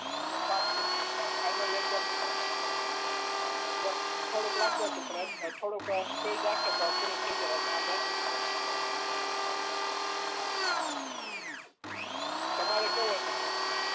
એટલે પાસ થઈ ગયા અને ફાઈનલ એક્જામ નું પેપર પણ એમ થોડુક લાંબુ હતું પણ થોડીક સ્પીડ રાખીએ તો પુરું થઈ જાય અને એમ એટલું બધું અધરું નતું ફાઈનલ એક્જામ તમારે કેવું હતું પેપર ને